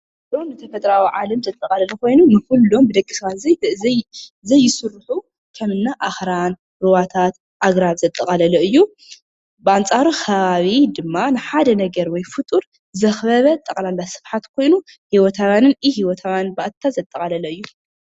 ንኹሎም ተፈጥሯዊ ዓለም ዘጠቓልል ኾይኑ ፤ንኹሎም ብደቂ ሰባት ዘይስርሑ ከም እኒ ኣኽራን፣ ሩባታት፣ ኣግራብ ዘጠቓላለ እዩ፡፡ ብኣንፃሩ ኸባቢ ድማ ንሓደ ነገር ወይ ፍጡር ዘኽበበ ጠቕላላ ስፍሓት ኮይኑ ህይወታውያንን ኢ -ህይወታውያንን ባእታታት ዘጠቓለለ እዩ፡፡